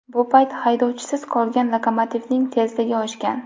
Bu payt haydovchisiz qolgan lokomotivning tezligi oshgan.